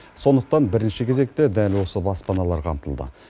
сондықтан бірінші кезекте дәл осы баспаналар қамтылды